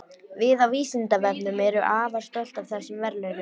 Við á Vísindavefnum erum afar stolt af þessum verðlaunum.